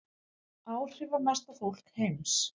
Áhrifamesta fólk heims